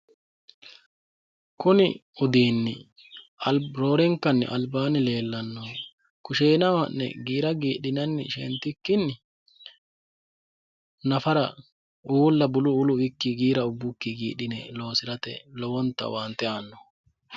kuni udiinni roorinkanni albaanni leellannohu kusheenaho ha'ne giira giidhinanni shentikkinni nafara uulla buluulu uwikki giira ubbukki gidhine loosirate lowonta owoonte aannooho.